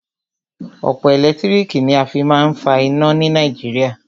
Òpó ẹ̀lẹ́tírìkì ni a fí má a ń fa iná ni Nàìjíríà.